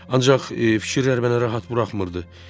Ancaq fikirlər mənə rahat buraxmırdı.